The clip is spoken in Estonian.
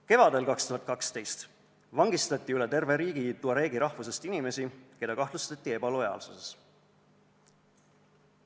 2012. aasta kevad: üle terve riigi vangistati tuareegi rahvusest inimesi, keda kahtlustati ebalojaalsuses.